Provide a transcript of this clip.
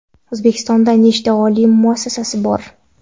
O‘zbekistonda nechta oliy taʼlim muassasasi bor?.